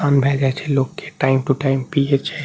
भए जाय छै लोग के टाइम टू टाइम पीये छै।